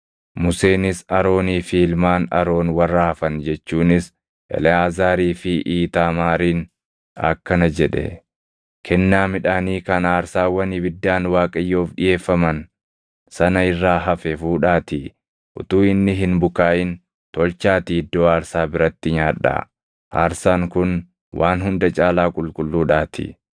Museenis Aroonii fi ilmaan Aroon warra hafan jechuunis Eleʼaazaarii fi Iitaamaariin akkana jedhe; “Kennaa midhaanii kan aarsaawwan ibiddaan Waaqayyoof dhiʼeeffaman sana irraa hafe fuudhaatii utuu inni hin bukaaʼin tolchaatii iddoo aarsaa biratti nyaadhaa; aarsaan kun waan hunda caalaa qulqulluudhaatii.